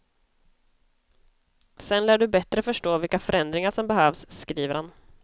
Sedan lär du bättre förstå vilka förändringar som behövs, skriver han.